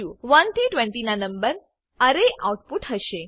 1 થી 20 ના નંબર અરે આઉટપુટ હશે